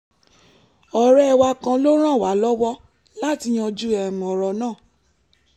ọ̀rẹ́ wa kan ló ràn wá lọ́wọ́ láti yanjú ọ̀rọ̀ náà